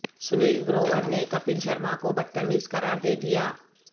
سنیل گروور نے کپل شرما کو بدتمیز قرار دےدیا